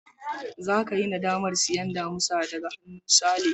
Zaka yi nadamar sayen damisa daga hannun Sale.